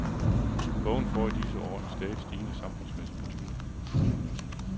Bogen får i disse år en stadigt stigende samfundsmæssig betydning.